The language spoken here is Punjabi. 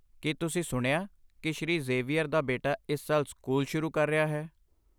ਕੀ ਤੁਸੀਂ ਸੁਣਿਆ ਕਿ ਸ਼੍ਰੀ ਜ਼ੇਵੀਅਰ ਦਾ ਬੇਟਾ ਇਸ ਸਾਲ ਸਕੂਲ ਸ਼ੁਰੂ ਕਰ ਰਿਹਾ ਹੈ?